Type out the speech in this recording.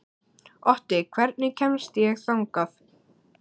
Otti, hvernig kemst ég þangað?